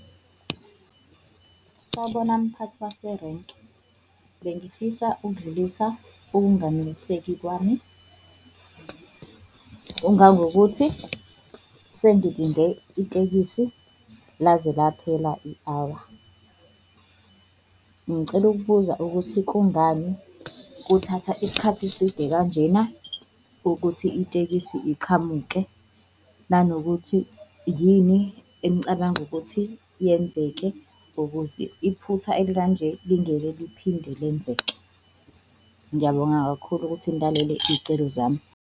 Sawubona mphathi waserenki, bengifisa ukudlulisa ukunganeliseki kwami ongangokuthi sengilinde itekisi laze laphela i-hour. Ngicela ukubuza ukuthi kungani kuthatha isikhathi eside kanjena ukuthi itekisi iqhamuke? Nanokuthi yini enicabanga ukuthi yenzeke ukuze iphutha elikanje lingeke liphinde lenzeke? Ngiyabonga kakhulu ukuthi nilalele iy'celo zami.